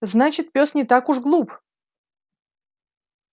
значит пёс не так уж глуп